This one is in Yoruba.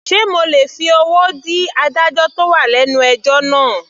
Sé mo lè fi owó dí adájọ́ tó wà lẹ́nu ẹjọ́ náà.